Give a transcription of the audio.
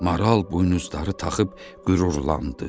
Maral buynuzları taxıb qürurlandı.